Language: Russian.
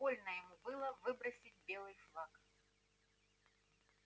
больно ему было выбросить белый флаг